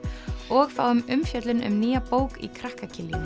og fáum umfjöllun um nýja bók í krakka